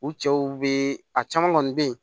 U cɛw bee a caman kɔni be yen